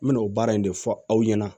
N me n'o baara in de fɔ aw ɲɛna